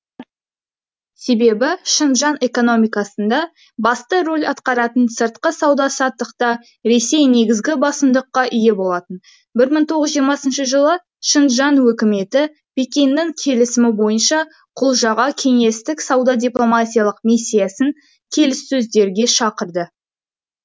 себебі шыңжаң экономикасында басты рөл атқаратын сыртқы сауда саттықта ресей негізгі басымдыққа ие болатын бір мың тоғыз жүз жиырмасыншы жылы шыңжаң өкіметі пекиннің келісімі бойынша құлжаға кеңестік сауда дипломатиялық миссиясын келіссөздерге шақырды